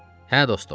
Hə dostum.